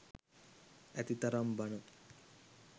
ඇතිතරම් බණ.